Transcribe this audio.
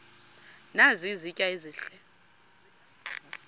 nazi izitya ezihle